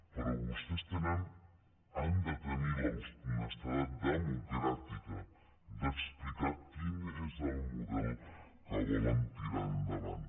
però vostès tenen han de tenir l’honestedat democràtica d’explicar quin és el model que volen tirar endavant